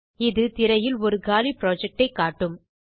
இது திரையில் ஒரு காலி புரொஜெக்ட் ஐ காட்டும்